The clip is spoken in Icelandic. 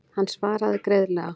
Hann svaraði greiðlega.